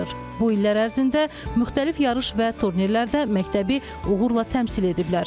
Bu illər ərzində müxtəlif yarış və turnirlərdə məktəbi uğurla təmsil ediblər.